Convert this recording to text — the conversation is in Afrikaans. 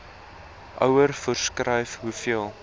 ouer voorskryf hoeveel